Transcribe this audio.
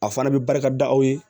A fana bɛ barika da aw ye